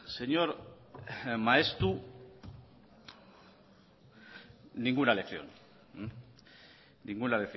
señor maeztu ninguna lección ninguna